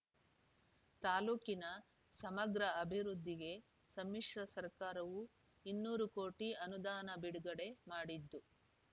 ತಾಲ್ಲೂಕಿನ ಸಮಗ್ರ ಅಭಿವೃದ್ಧಿಗೆ ಸಮ್ಮಿಶ್ರ ಸರ್ಕಾರವೂ ಇನ್ನೂರು ಕೋಟಿ ಅನುದಾನ ಬಿಡುಗಡೆ ಮಾಡಿದ್ದು